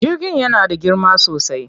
Jirgin yana da girma sosai.